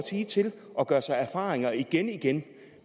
sige til at gøre sig erfaringer igen igen